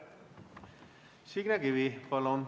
Signe Kivi, palun!